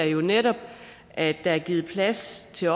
jo netop at der er givet plads til